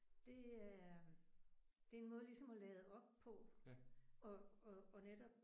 Det er det er en måde ligesom at lade op på og og og netop